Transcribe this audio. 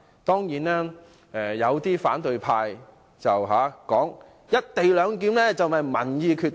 當然，有反對派指"一地兩檢"應由民意決定。